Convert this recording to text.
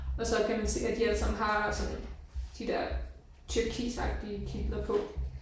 Og så kan man se at de alle sammen har sådan de der turkisagtige kitler på